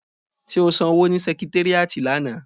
Ṣé o san owó ni sẹkitéríàtì lánàá?